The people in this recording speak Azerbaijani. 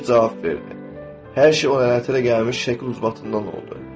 Kişi cavab verdi: Hər şey o lənətə gəlmiş şəklin uzbatından oldu.